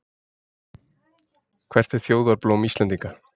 Hvert er þjóðarblóm Íslendinga?